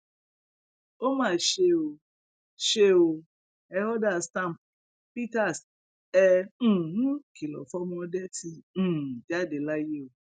ó mà ṣe o ṣe o e order stamp peters ẹ um kìlọ fọmọ ọdẹ ti um jáde láyé o